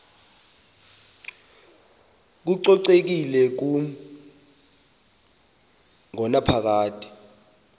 kococekile kumi ngonaphakade